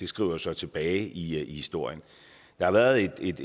skriver sig tilbage i historien der har været et